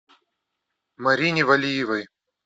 марине валиевой